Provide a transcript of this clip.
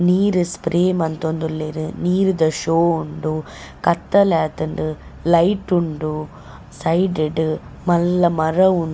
ನೀರ್ ಸ್ಪ್ರೇ ಮಂತೊಂದುಲ್ಲೆರ್ ನೀರ್ದ ಶೋ ಉಂಡು ಕತ್ತಲಾತುಂಡು ಲೈಟ್ ಉಂಡು ಸೈಡ್ ಡ್ ಮಲ್ಲ ಮರ ಉಂಡು.